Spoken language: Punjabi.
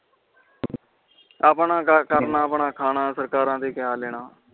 ਆਪਣਾ ਕਰਨਾ ਅਪਨ ਖਾਣਾ ਸਰਕਾਰ ਤੇ ਕੀਆ ਲੈਣਾ